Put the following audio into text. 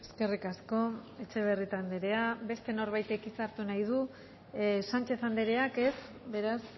eskerrik asko etxebarrieta andrea beste norbaitek hitza hartu nahi du sánchez andreak ez beraz